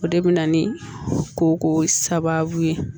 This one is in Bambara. O de bɛ na ni koko sababu ye